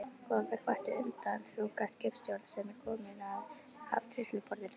Gólfið kvartar undan þunga skipstjórans sem er kominn að afgreiðsluborð